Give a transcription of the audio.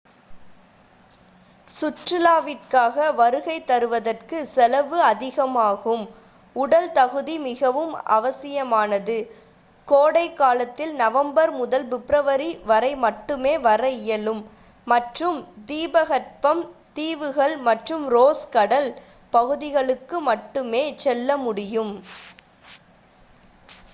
சுற்றுலாவிற்காக வருகை தருவதற்கு செலவு அதிகமாகும் உடல் தகுதி மிகவும் அவசியமானது கோடைகாலத்தில் நவம்பர் முதல் பிப்ரவரி வரை மட்டுமே வர இயலும் மற்றும் தீபகற்பம் தீவுகள் மற்றும் ரோஸ் கடல் பகுதிகளுக்கு மட்டுமே செல்ல முடியும்